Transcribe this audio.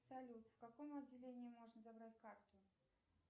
салют в каком отделении можно забрать карту